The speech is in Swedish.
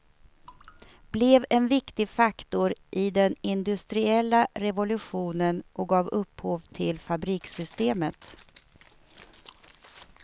Blev en viktig faktor i den industriella revolutionen och gav upphov till fabrikssystemet.